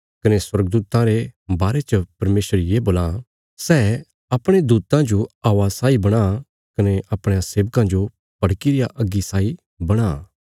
कने स्वर्गदूतां रे बारे च परमेशर ये बोलां सै अपणयां दूतां जो हवा साई बणां कने अपणयां सेवकां जो भड़की रिया अग्गी साई बणां